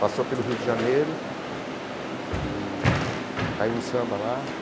Passou pelo Rio de Janeiro e caiu no samba lá.